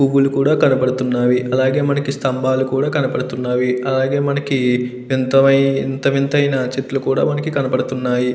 పువ్వులు కూడా కనబడుతున్నవి అలాగే మనకి స్తంభాలు కూడా కనబడుతున్నవి అలాగే మనకి వింత వింతైన చెట్లు కూడా మనకి కనబడుతున్నాయి.